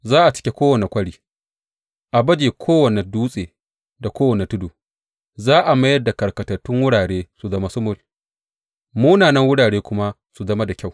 Za a cike kowane kwari, a baje kowane dutse da kowane tudu; za a mayar da karkatattun wurare su zama sumul, munanan wurare kuma su zama da kyau.